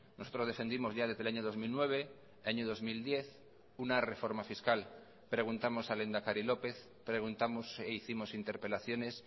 nosotros defendimos ya desde el año dos mil nueve año dos mil diez una reforma fiscal preguntamos al lehendakari lópez preguntamos e hicimos interpelaciones